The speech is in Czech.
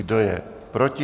Kdo je proti?